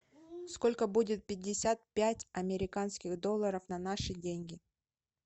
сколько будет пятьдесят пять американских долларов на наши деньги